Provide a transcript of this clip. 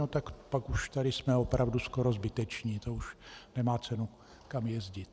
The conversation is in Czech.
No tak pak už tady jsme opravdu skoro zbyteční, to už nemá cenu nikam jezdit.